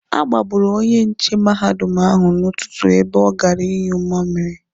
A gbagburu onye nche mahadum ahụ n'ụtụtụ ebe ọ gara ịnyụ mmamiri.